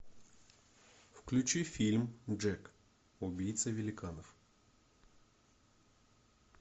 включи фильм джек убийца великанов